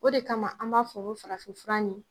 O de kama an b'a fɔ ko farafin fura ɲi.